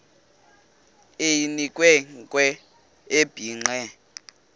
eyinkwe nkwe ebhinqe